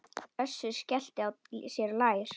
Össur skellti sér á lær.